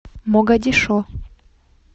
могадишо